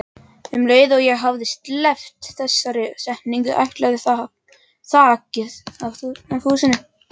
Um leið og ég hafði sleppt þessari setningu ætlaði þakið af húsinu.